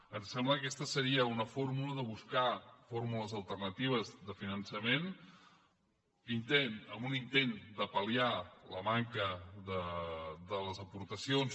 ens sembla que aquesta seria una fórmula de buscar fórmules alternatives de finançament en un intent de palliar la manca de les aportacions